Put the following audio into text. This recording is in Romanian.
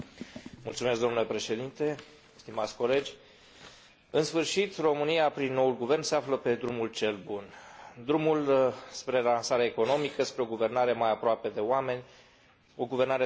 În sfârșit, România, prin noul guvern, se află pe drumul cel bun, drumul spre relansare economică, spre o guvernare mai aproape de oameni, o guvernare transparentă, care va corecta multe dintre greșelile făcute de vechiul guvern.